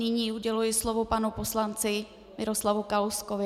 Nyní uděluji slovo panu poslanci Miroslavu Kalouskovi.